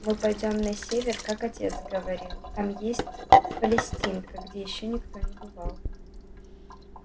мы пойдём на север как отец говорил там есть палестинка где ещё никто не бывал